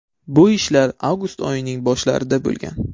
Bu ishlar avgust oyining boshlarida bo‘lgan.